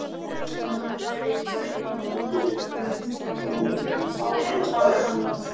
Að hann væri í raun engu nær um framvindu átakanna.